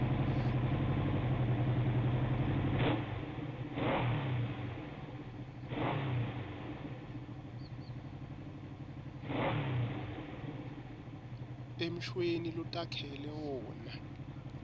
emshweni lotakhele wona